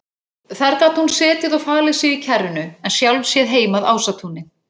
Þar gat hún setið og falið sig í kjarrinu en sjálf séð heim að Ásatúni.